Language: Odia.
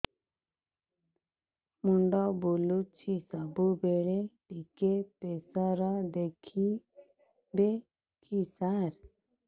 ମୁଣ୍ଡ ବୁଲୁଚି ସବୁବେଳେ ଟିକେ ପ୍ରେସର ଦେଖିବେ କି ସାର